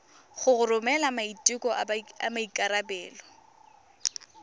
go romela maiteko a maikarebelo